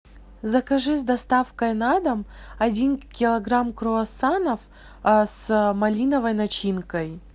закажи с доставкой на дом один килограмм круассанов с малиновой начинкой